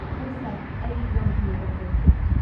ꯍꯣꯏ ꯁꯥꯔ, ꯑꯩ ꯌꯥꯝ ꯊꯨꯅ ꯇꯧꯖꯒꯦ꯫